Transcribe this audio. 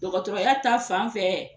Dɔgɔtɔrɔya ta fan fɛ,